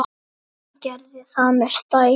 Og gerði það með stæl.